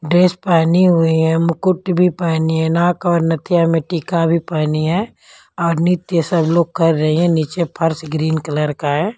Dress पेहनी हुई हैं मुकुट भी पेहनी है नाक और नथिया में टिका का भी पेहनी हैं और नीचे सब लोग कर रहे हैं नीचे फर्श ग्रीन कलर का है।